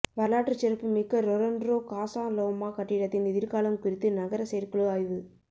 வரலாற்றுச் சிறப்புமிக்க Toronto Casa Loma கட்டிடத்தின் எதிர்காலம் குறித்து நகர செயற்குழு ஆய்வு